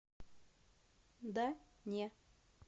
да не